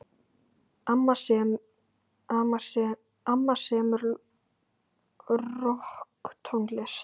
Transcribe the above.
Amma semur rokktónlist.